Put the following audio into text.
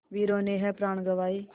वीरों ने है प्राण गँवाए